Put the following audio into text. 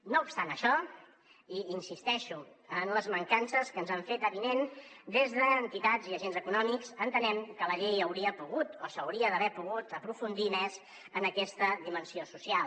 no obstant això i insisteixo en les mancances que ens han fet avinents des d’entitats i agents econòmics entenem que la llei hauria pogut o hauria d’haver pogut aprofundir més en aquesta dimensió social